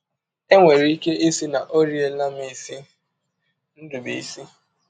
E nwere ike ịsị na ọ riela m isi. ”— Ndụbụisi.